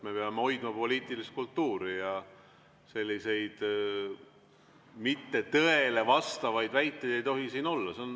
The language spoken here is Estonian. Me peame hoidma poliitilist kultuuri ja selliseid tõele mittevastavaid väiteid ei tohi siin olla.